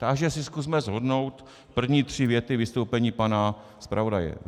Takže si zkusme shrnout první tři věty vystoupení pana zpravodaje.